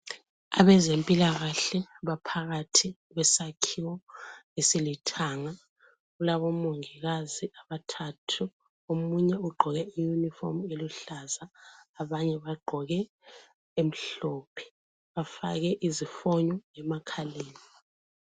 Abezempilakahle baphakathi kwesakhiwo esilithanga. Kulabomongikazi abathathu. Omunye ugqoke iyunifomu eluhlaza, abanye bagqoke emhlophe. Bafake izifonyo emakhaleni.